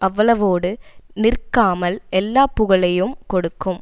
அவ்வளவோடு நிற்காமல் எல்லா புகழையும் கொடுக்கும்